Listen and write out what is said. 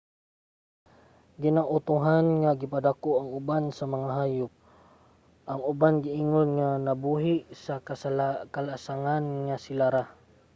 ginautohan nga gipadako ang uban sa mga hayop; ang uban giingon nga nabuhi sa kalasangan nga sila ra